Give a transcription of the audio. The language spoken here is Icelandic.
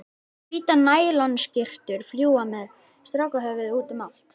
Hvítar nælonskyrtur fljúga með strákahöfuð útum allt.